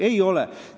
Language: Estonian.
Ei ole.